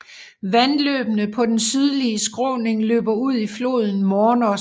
Vandløbene på den sydlige skråning løber ud i floden Mornos